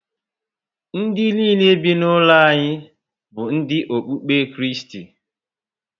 Ndị nile be na ụlo anyị bu ndi okpukpe Kristi